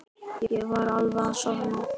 Ég var alveg að sofna.